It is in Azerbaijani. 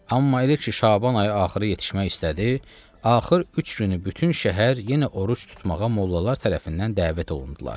Amma elə ki Şaban ayı axırı yetişmək istədi, axır üç günü bütün şəhər yenə oruc tutmağa mollalar tərəfindən dəvət olundular.